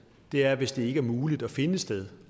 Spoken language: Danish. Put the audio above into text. er hvis det ikke er muligt at finde et sted